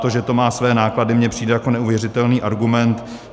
To, že to má své náklady, mně přijde jako neuvěřitelný argument.